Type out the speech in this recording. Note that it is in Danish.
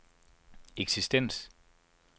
eksistens